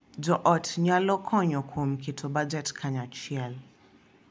Jo ot nyalo konyo kuom keto bajet kanyachiel,